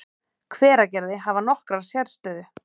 Hveragerði, hafa nokkra sérstöðu.